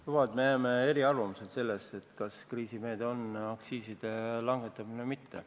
Luba, et me jääme eriarvamusele selles, kas aktsiiside langetamine on kriisimeede või mitte.